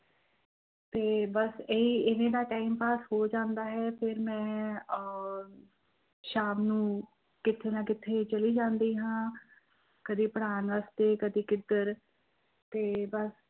ਤੇ ਬਸ ਇਹੀ ਇਵੇਂ ਦਾ time pass ਹੋ ਜਾਂਦਾ ਹੈ ਫਿਰ ਮੈਂ ਅਹ ਸ਼ਾਮ ਨੂੰ ਕਿਤੇ ਨਾ ਕਿਤੇ ਚਲੀ ਜਾਂਦੀ ਹਾਂ, ਕਦੇ ਪੜ੍ਹਾਉਣ ਵਾਸਤੇ ਕਦੇੇ ਕਿੱਧਰ ਤੇ ਬਸ